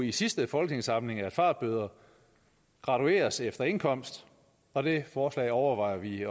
i sidste folketingssamling at fartbøder gradueres efter indkomst og det forslag overvejer vi